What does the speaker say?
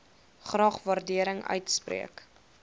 graag waardering uitspreek